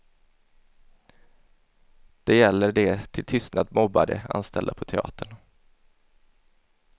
Det gäller de till tystnad mobbade anställda på teatern.